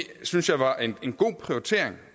synes jeg var en god prioritering